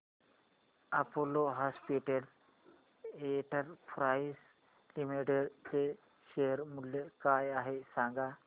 Apollo hospitals enterprise limited चे share मूल्य काय आहे सांगा